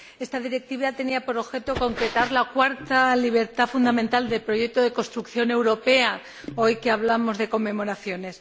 Esta Directiva tenía por objeto concretar la cuarta libertad fundamental del proyecto de construcción europea, hoy que hablamos de conmemoraciones.